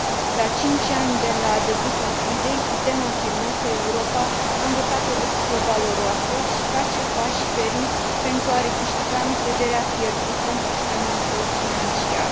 La cinci ani de la debutul crizei, putem afirma că Europa a învățat o lecție valoroasă și face pași fermi pentru a recâștiga încrederea pierdută în sistemul său financiar.